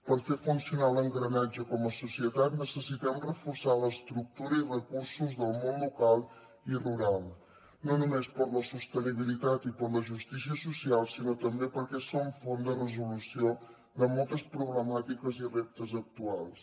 per fer funcionar l’engranatge com a societat necessitem reforçar l’estructura i recursos del món local i rural no només per a la sostenibilitat i per a la justícia social sinó també perquè són font de resolució de moltes problemàtiques i reptes actuals